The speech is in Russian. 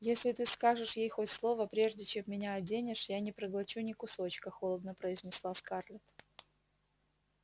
если ты скажешь ей хоть слово прежде чем меня оденешь я не проглочу ни кусочка холодно произнесла скарлетт